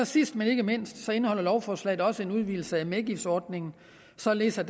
sidst men ikke mindst indeholder lovforslaget også en udvidelse af medgiftsordningen således at